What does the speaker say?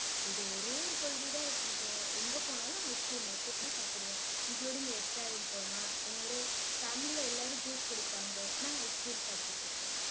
இது ஒரே ஒரு கொள்கைதான் வச்சிருக்கேன். எங்க போனாலும் ice cream மட்டும்தான் சாப்பிடுவேன். Including restaurant போனா என்னோட family ல எல்லாரும் juice குடிப்பாங்க. நான் ice cream சாப்பிட்டுட்டிருப்பேன்.